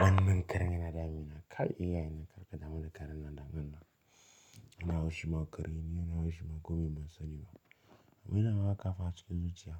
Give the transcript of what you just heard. Wannan karan yana damina. Kai iya yana karkata. Hana karina damina. Na haushi ma kare. Ni na haushi ma komai masani ba. Abin da na kawo hafi cikin zuciya.